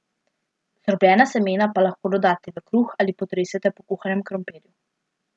Zdrobljena semena pa lahko dodate v kruh ali potresete po kuhanem krompirju.